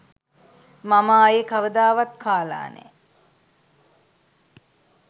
මම ආයේ කවදාවත් කාලා නෑ